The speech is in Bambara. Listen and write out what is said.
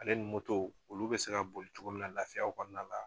Ale ni olu bɛ se ka boli cogo min na laafiyaw kɔnɔna la.